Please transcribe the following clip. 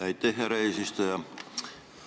Aitäh, härra eesistuja!